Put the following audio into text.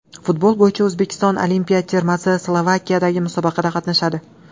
Futbol bo‘yicha O‘zbekiston olimpiya termasi Slovakiyadagi musobaqada qatnashadi.